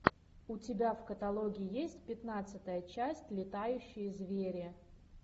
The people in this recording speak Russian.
у тебя в каталоге есть пятнадцатая часть летающие звери